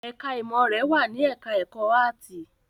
Ẹ̀ká ìmọ̀ rẹ̀ wà ní ẹ̀ká ẹ̀kọ́ áàtì